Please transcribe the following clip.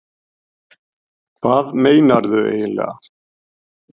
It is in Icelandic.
Hvað meinarðu eiginlega?